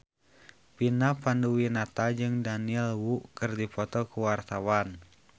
Vina Panduwinata jeung Daniel Wu keur dipoto ku wartawan